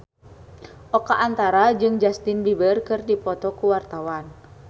Oka Antara jeung Justin Beiber keur dipoto ku wartawan